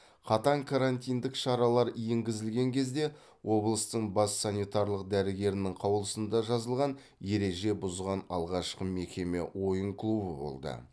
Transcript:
қатаң карантиндік шаралар енгзілген кезде облыстың бас санитарлық дәрігерінің қаулысында жазылған ереже бұзған алғашқы мекеме ойын клубы болды